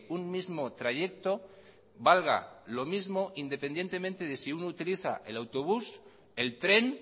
un mismo trayecto valga lo mismo independientemente de si uno utiliza el autobús el tren